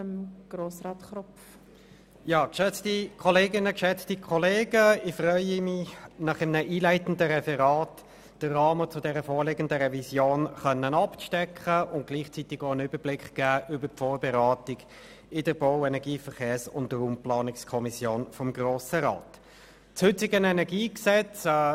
der BaK. Ich freue mich, Ihnen in einem einleitenden Referat den Rahmen dieser Revision abzustecken und gleichzeitig einen Überblick über die Vorberatung in der Bau-, Energie-, Verkehrs- und Raumplanungskommission des Grossen Rats zu geben.